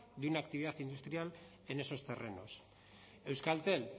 de una actividad industrial en esos terrenos euskaltel